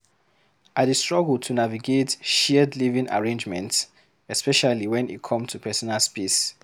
I dey struggle to navigate shared living arrangements, especially when e come to personal space.